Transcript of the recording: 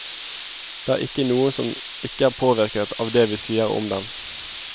Det er ikke noen som ikke er påvirket av det vi sier om dem.